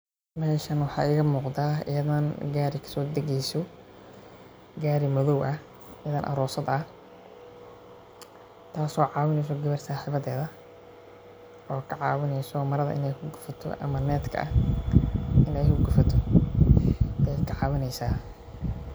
Meeshan waxaa iiga muuqda inan gaari kasoo dageeyso, gaari madoow ah, inan aroosad ah, taas oo caawineyso gawar saxibadeed ah, oo ka caawineysa marada ineey ku gufato ama netka ineey ku gufato ayeey ka caawineysa.